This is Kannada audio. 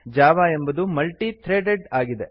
ಜಾವಾ ಎಂಬುದು ಮಲ್ಟಿ - ಥ್ರೆಡೆಡ್ ಆಗಿದೆ